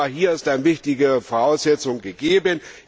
Hier ist eine wichtige Voraussetzung gegeben.